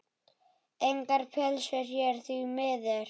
Engar pylsur hér, því miður.